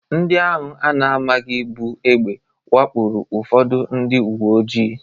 Ndị ahụ a na-amaghị buu egbe wakporo ụfọdụ ndị uwe ojii.